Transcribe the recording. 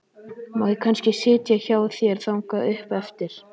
Má ég kannski sitja í hjá þér þangað upp eftir?